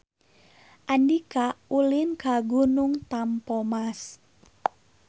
Andika ulin ka Gunung Tampomas